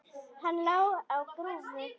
Hann lá á grúfu.